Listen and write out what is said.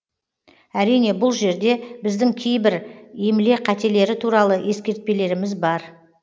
әрине бұл жерде біздің кейбір емле қателері туралы ескертпелеріміз бар